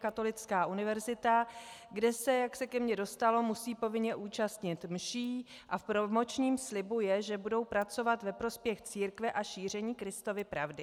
Katolická univerzita, kde se, jak se ke mně dostalo, musí povinně účastnit mší a v promočním slibu je, že budou pracovat ve prospěch církve a šíření Kristovy pravdy.